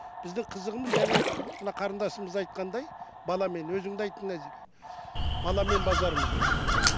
біздің қызығымыз жаңа мына қарынасымыз айтқандай баламен өзің де айттың назира баламен базармыз деп